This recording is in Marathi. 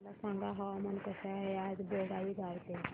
मला सांगा हवामान कसे आहे आज बोंगाईगांव चे